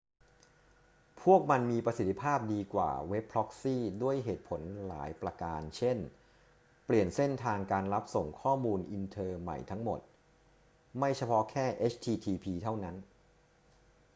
พวกมันมีประสิทธิภาพดีกว่าเว็บพร็อกซี่ด้วยเหตุผลหลายประการ เช่น เปลี่ยนเส้นทางการรับส่งข้อมูลอินเทอร์ใหม่ทั้งหมด ไม่เฉพาะแค่ http เท่านั้น